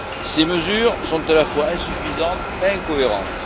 Ces mesures sont à la fois insuffisantes et incohérentes.